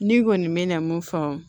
Ne kɔni mɛna mun fɔ